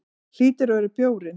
Hlýtur að vera bjórinn.